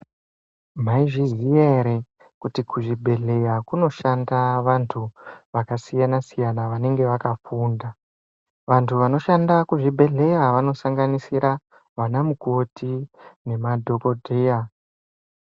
Maizviziya ere kuti kuzvibhedhleya kunoshanda vantu vakasiyana-siyana vanenge vakafunda? Vantu vanoshanda kuzvibhedhleya vanosanganisira, vanamukoti nemadhokodheya.